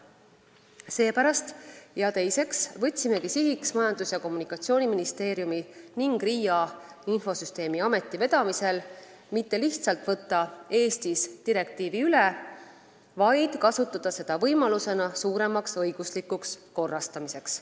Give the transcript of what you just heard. Seepärast seadsimegi Majandus- ja Kommunikatsiooniministeeriumi ning RIA ehk infosüsteemi ameti vedamisel sihiks mitte lihtsalt Eestis direktiivi üle võtta, vaid kasutada seda kui võimalust suuremaks õiguslikuks korrastamiseks.